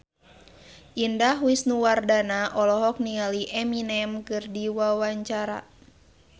Indah Wisnuwardana olohok ningali Eminem keur diwawancara